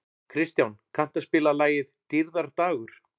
Kristján, kanntu að spila lagið „Dýrðardagur“?